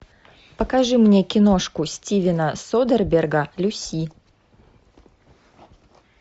покажи мне киношку стивена содерберга люси